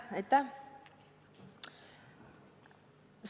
Aitäh!